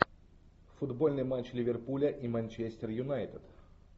футбольный матч ливерпуля и манчестер юнайтед